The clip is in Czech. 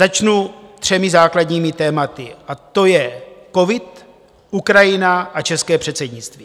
Začnu třemi základními tématy, a to je covid, Ukrajina a české předsednictví.